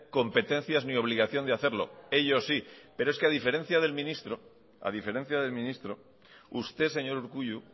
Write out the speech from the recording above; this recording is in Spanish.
competencias ni obligación de hacerlo ellos sí pero es que a diferencia del ministro usted señor urkullu